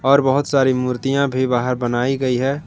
पर बहुत सारी मूर्तियां भी बाहर बनाई गई है।